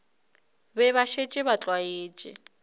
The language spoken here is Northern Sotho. be ba šetše ba tlwaetše